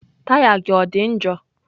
Taya gị ọ dị njọ?